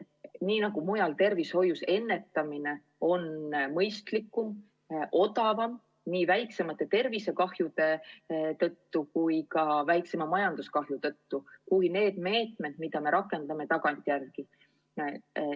Nii nagu mujal, on ka tervishoius ennetamine mõistlikum ja odavam – nii väiksemate tervisekahjude tõttu kui ka väiksema majanduskahju tõttu – kui need meetmed, mida me rakendame tagantjärele.